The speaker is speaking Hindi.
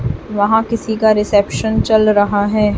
वहां किसी का रिसेप्शन चल रहा है।